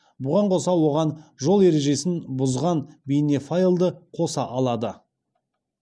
бұған қоса оған жол ережесін бұзған бейнефайлды қоса алады